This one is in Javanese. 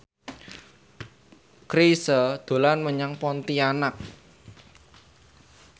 Chrisye dolan menyang Pontianak